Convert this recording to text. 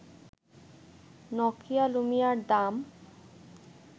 Nokia লুমিয়ার দাম